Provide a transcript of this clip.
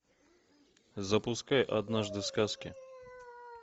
запускай однажды в сказке